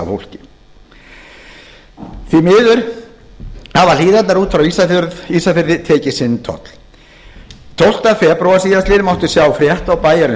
á fólki því miður hafa hlíðarnar út frá ísafirði tekið sinn toll tólfta febrúar síðastliðinn mátti sjá frétt í bæjarins